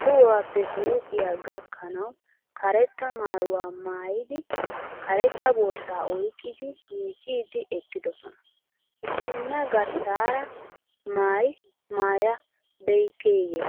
tohuwappe huuphiya gakkanawu karetta maayuwa maayidi karetta borsaa oyiqqidi miiccidi eqqidosona. Issinna garssaara maayi maayabeyikkeA?